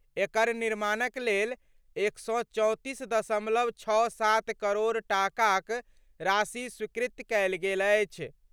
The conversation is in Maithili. एकर निर्माणक लेल 134.67 करोड़ टाकाक राशि स्वीकृत कयल गेल अछि।